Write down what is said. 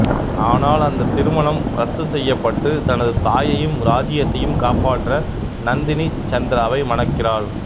ஆனால் அந்த திருமணம் ரத்து செய்யப்பட்டு தனது தாயையும் ராஜ்யத்தையும் காப்பாற்ற நந்தினி சந்திராவை மணக்கிறாள்